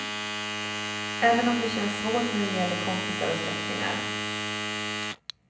Även om det känns svårt när det gäller kompisar och släktingar.